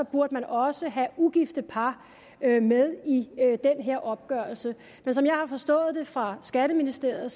burde man også have ugifte par med i den her opgørelse men som jeg har forstået fra skatteministeriet